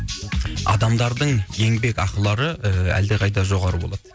адамдардың еңбек ақылары ііі әлдеқайда жоғары болады